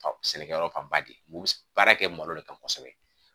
Sɛnɛkɛyɔrɔ fanba de ye u bɛ baara kɛ malo de kan kosɛbɛ